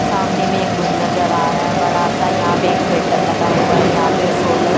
सामने में एक रूम नजर आ रहा है बड़ा सा यहाँ पे एक फिल्टर लगा हुआ है यहाँ पे सोलर --